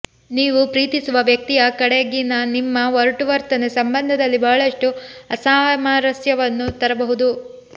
ನೀವು ಪ್ರೀತಿಸುವ ವ್ಯಕ್ತಿಯ ಕಡೆಗಿನನಿಮ್ಮ ಒರಟು ವರ್ತನೆ ಸಂಬಂಧದಲ್ಲಿ ಬಹಳಷ್ಟು ಅಸಾಮರಸ್ಯವನ್ನು ತರಬಹುದು